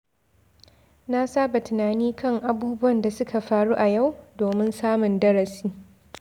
Na saba tunani kan abubuwan da suka faru a yau domin samun darasi.